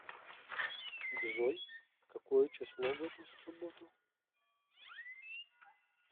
джой какое число в эту субботу